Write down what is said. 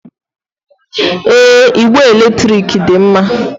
Èé, igbe èlétrị̀k dị mma.